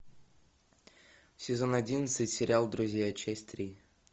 сезон одиннадцать сериал друзья часть три